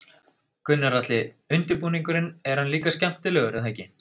Gunnar Atli: Undirbúningurinn, hann er líka skemmtilegur er það ekki?